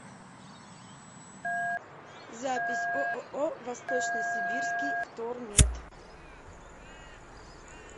запись ооо восточно сибирский втормет